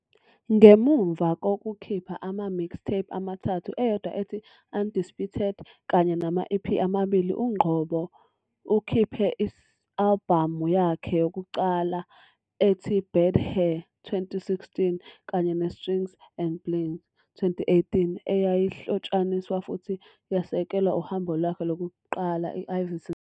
Ngemuva kokukhipha ama- mixtape amathathu, eyodwa ethi "Undisputed" kanye nama- EP amabili, uNgcobo ukhiphe i-albhamu yakhe yokuqala ethi "Bad Hair", 2016, kanye "neStrings and Bling", 2018, eyayihlotshaniswa futhi yasekelwa uhambo lwakhe lokuqala, "I-Ivyson Tour".